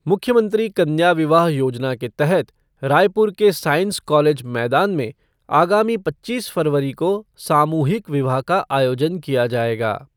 मुख्यमंत्री कन्या विवाह योजना के तहत रायपुर के साईंस कॉलेज मैदान में आगामी पच्चीस फरवरी को सामूहिक विवाह का आयोजन किया जाएगा।